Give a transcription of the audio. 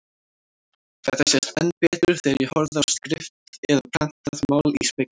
Þetta sést enn betur þegar ég horfi á skrift eða prentað mál í spegli.